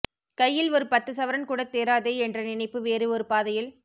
கையில் ஒரு பத்து சவரன் கூட தேறாதெ என்ற நினைப்பு வேறு ஒரு பாதையில்